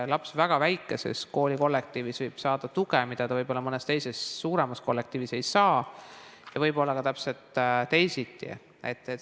Laps võib väga väikeses koolikollektiivis saada tuge, mida ta võib-olla mõnes teises, suuremas kollektiivis ei saa, ja võib olla ka täpselt teisiti.